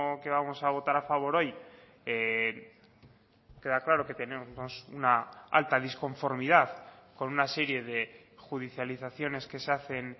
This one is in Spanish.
que vamos a votar a favor hoy queda claro que tenemos una alta disconformidad con una serie de judicializaciones que se hacen